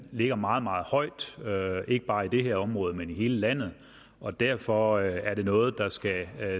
ligger meget meget højt ikke bare i det her område men i hele landet og derfor er det noget der skal